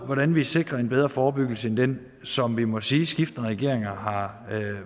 hvordan vi sikrer en bedre forebyggelse end den som vi må sige at skiftende regeringer har